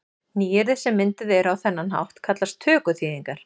Nýyrði sem mynduð eru á þennan hátt kallast tökuþýðingar.